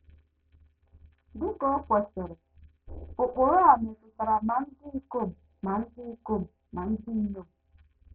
Dị ka o kwesịrị, ụkpụrụ a metụtara ma ndị ikom ma ndị ikom ma ndị inyom.